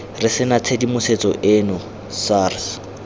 re sena tshedimosetso eno sars